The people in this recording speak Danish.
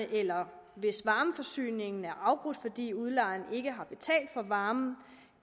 eller hvis varmeforsyningen er afbrudt fordi udlejeren ikke har betalt for varmen